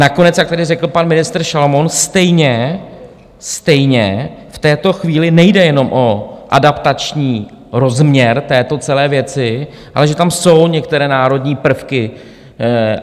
Nakonec, jak tady řekl pan ministr Šalomoun, stejně v této chvíli nejde jenom o adaptační rozměr této celé věci, ale že tam jsou některé národní prvky.